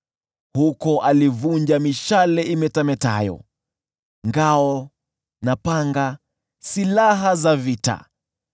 Huko alivunja mishale imetametayo, ngao na panga, silaha za vita.